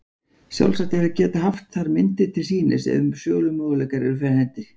Sjálfsagt er að geta haft þar myndir til sýnis ef sölumöguleikar eru fyrir hendi.